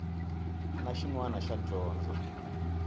na xin wana xa dyondzo